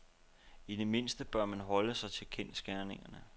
I det mindste bør man holde sig til kendsgerningerne.